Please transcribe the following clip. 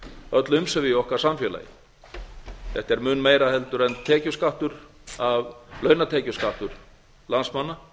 öll umsvif í okkar samfélagi þetta er mun meira heldur en tekjuskattur af launatekjuskattur landsmanna